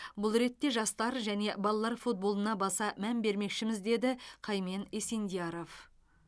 бұл ретте жастар және балалар футболына баса мән бермекшіміз деді қаймен есендияров